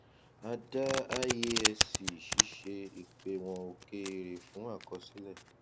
a dá iasc ṣíṣe ìpéwọn òkèèrè fún àkọsílẹ